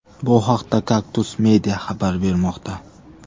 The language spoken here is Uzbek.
Bu haqda Kaktus media xabar bermoqda .